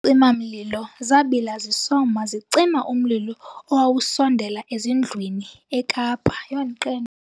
Izicima-mlilo zabila zisoma zicima umlilo owawusondela ezindlwini eKapa.